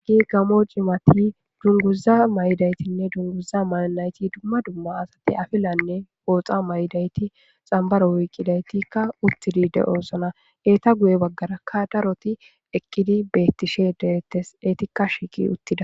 gi gamo cimati dunguza may7daytinne dunguza mayanayti dumma dumma asati afilanne booxa may7dayti xambaro wiiqidaytikka uttidi de7osona eeta guye baggarakka daroti ekkidi bettishe deettes eetikka shiiqi uttida